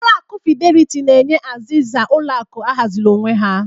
Ulọ akụ Fidelity na-enye azịza ụlọ akụ ahaziri onwe ya.